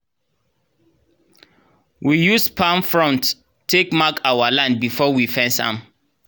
we use palm fronts take mark our land before we fence am